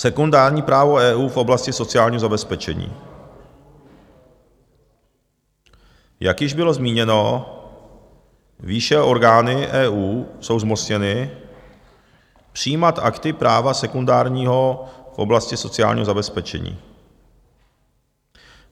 Sekundární právo EU v oblasti sociálního zabezpečení - jak již bylo zmíněno výše, orgány EU jsou zmocněny přijímat akty práva sekundárního v oblasti sociálního zabezpečení.